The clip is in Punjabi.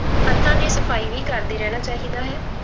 ਹੱਥਾਂ ਦੀ ਸਫ਼ਾਈ ਵੀ ਕਰਦੇ ਰਹਿਣਾ ਚਾਹੀਦਾ ਹੈ।